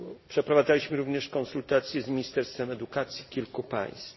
Przeprowadzaliśmy również konsultacje z ministerstwami edukacji kilku państw.